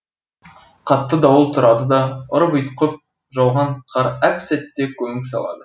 қатты дауыл тұрады да ұрып ұйтқып жауған қар әп сәтте көміп салады